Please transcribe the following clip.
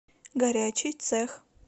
горячий цех